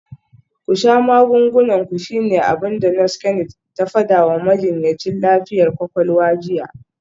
“Ku sha magungunan ku shine abin da Nurse Kennet ta fada wa majinyacin lafiyar kwakwalwa jiya.